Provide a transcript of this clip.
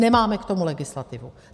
Nemáme k tomu legislativu.